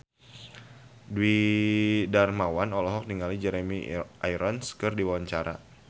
Dwiki Darmawan olohok ningali Jeremy Irons keur diwawancara